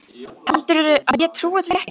Heldurðu að ég trúi því ekki?